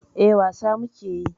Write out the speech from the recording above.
Eh, wasa muke yi.